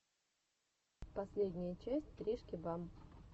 последняя часть тришки бам